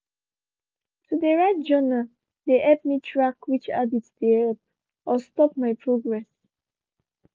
to de write journal de help me track which habits de help or stop my progress.